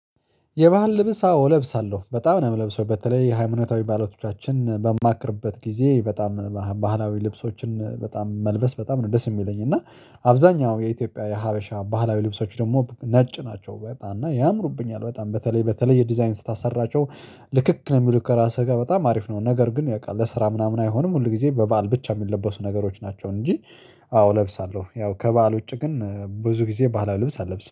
የባህል ልብስ አዎ እለብሳለሁ በጣም ነው የምለብሰው በተለይ የሃይማኖታዊ ባህሎቻችን በማከብርበት ጊዜ በጣም ባህላዊ ልብሶችን በጣም መልበስ በጣም ነው ደስ የሚለኝ። እና አብዛኛው የኢትዮጵያ የሀበሻ ባህላዊ ልብሶች ደግሞ ነጭ ናቸው በጣም እና ያምሩብኛል በጣም በተለይ በተለይ የዲዛይን ስታሰራቸው። ልክክ ነው የሚሉት ከራስህ ጋር በጣም አሪፍ ነው ነገር ግን በቃ ለስራ ምናምን አይሆኑም ሁል ጊዜ በበዓል ብቻ የሚለበሱ ነገሮች ናቸው። እንጂ አዎ እለብሳለሁ ያው ከበዓል ውጪ ግን ብዙ ጊዜ በዓል ልብስ አልለብስም